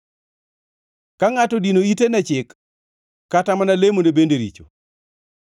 Ka ngʼato odino ite ne chik, kata mana lemone bende richo.